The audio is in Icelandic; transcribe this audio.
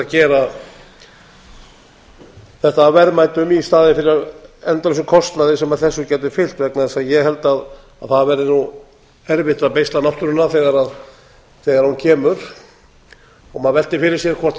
gera þetta að verðmætum í staðinn fyrir endalausum kostnaði sem þessu getur fylgt vegna þess að ég held að það verði nú erfitt að beisla náttúruna þegar hún kemur maður veltir fyrir sér hvort